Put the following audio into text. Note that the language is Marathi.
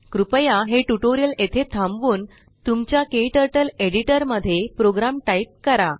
कृपया हे ट्यूटोरियल येथे थांबवून तुमच्या क्टर्टल एडिटर मध्ये प्रोग्राम टाइप करा